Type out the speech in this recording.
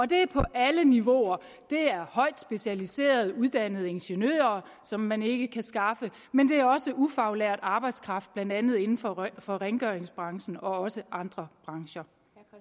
det er på alle niveauer det er højt specialiserede uddannede ingeniører som man ikke kan skaffe men det er også ufaglært arbejdskraft blandt andet inden for for rengøringsbranchen og også andre brancher